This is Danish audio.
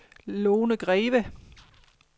Lone Greve